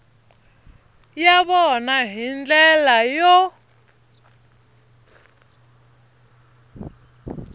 ya vona hi ndlela yo